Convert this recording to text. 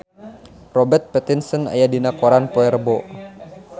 Robert Pattinson aya dina koran poe Rebo